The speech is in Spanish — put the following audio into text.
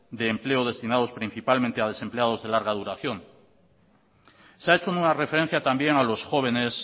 de empleo destinados principalmente a desempleados de larga duración se ha hecho alguna referencia también a los jóvenes